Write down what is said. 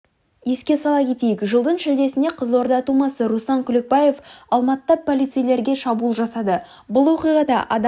еске сала кетейік жылдың шілдесінде қызылорда тумасы руслан күлекбаев алматыда полицейлерге шабуыл жасады бұл оқиғада адам